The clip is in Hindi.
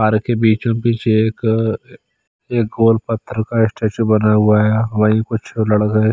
पार्क के बीचो बीच एक एक गोल पत्थर का स्टेचू बना हुआ है वहीं कुछ है।